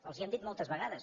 els ho hem dit moltes vegades